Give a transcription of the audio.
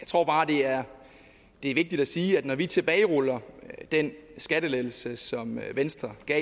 tror bare det er er vigtigt at sige at når vi tilbageruller den skattelettelse som venstre gav